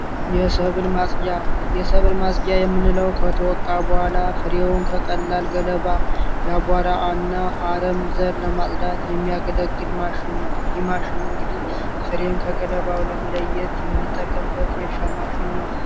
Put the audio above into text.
የሰብል ማፅጃ የሰብል ማፅጃ የምንለው ከተወቃ በኋላ ፍሬውን ከቀላል ገለባ አቧራ እና አረም ዘር ለማፅዳት የሚያገለግል ማሽን ነው። ይህ የማሽን እንግዲህ ፍሬን ከገለባው ለመለየት የምንጠቀምበት የእርሻ ማሽን ነው።